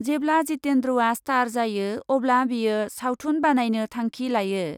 जेब्ला जितेन्द्रआ स्टार जायो अब्ला बियो सावथुन बानायनो थांखि लायो ।